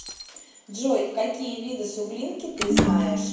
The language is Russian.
джой какие виды суглинки ты знаешь